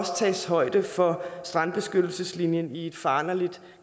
tages højde for strandbeskyttelseslinjen i et foranderligt